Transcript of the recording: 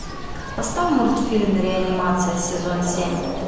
поставь мультфильм реанимация сезон семь